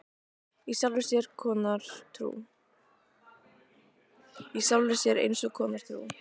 Í sjálfri sér eins konar trú.